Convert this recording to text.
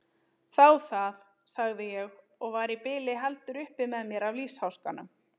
Þá það, sagði ég og var í bili heldur upp með mér af lífsháskanum.